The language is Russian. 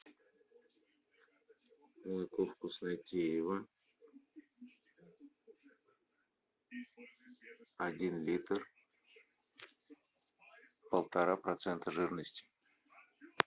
молоко вкуснотеево один литр полтора процента жирности